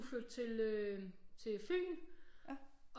Skulle flytte til øh til Fyn